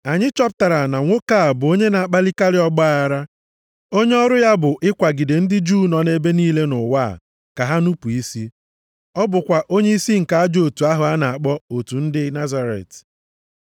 “Anyị chọpụtara na nwoke a bụ onye na-akpalikarị ọgbaaghara, onye ọrụ ya bụ ịkwagide ndị Juu nọ nʼebe niile nʼụwa a ka ha nupu isi. Ọ bụkwa onyeisi nke ajọ otu ahụ a na-akpọ Otu ndị Nazaret.